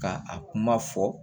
Ka a kuma fɔ